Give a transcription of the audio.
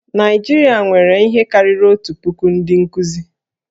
Naịjirịa nwere ihe karịrị otu puku ndị nkuzi